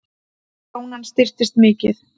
Krónan styrkist mikið